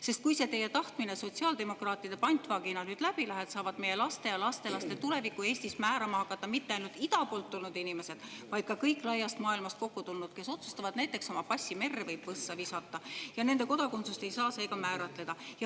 Sest kui see teie tahtmine sotsiaaldemokraatide pantvangis olles nüüd läbi läheb, siis saavad meie laste ja lastelaste tulevikku Eestis määrama hakata ka mitte ainult ida poolt tulnud inimesed, vaid paljud muudki laiast maailmast kokku tulnud, kes otsustavad oma passi merre või võssa visata ja nende kodakondsust ei saa seega määratleda.